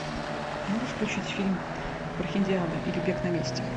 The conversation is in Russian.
можешь включить фильм прохиндиада или бег на месте